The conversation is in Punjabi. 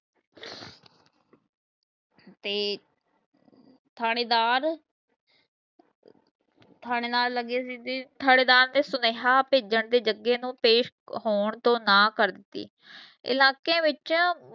ਤੇ ਥਾਣੇਦਾਰ ਥਾਣੇਦਾਰ ਲਗੇ ਸੀ ਤੇ ਥਾਣੇਦਾਰ ਨੇ ਸੁਨੇਹਾ ਭੇਜਣ ਤੇ ਜਗੇ ਨੂੰ ਪੇਸ਼ ਹੋਣ ਤੋਂ ਨਾ ਕਰ ਦਿਤੀ। ਇਲਾਕੇ ਵਿੱਚ